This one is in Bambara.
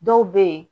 Dɔw bɛ ye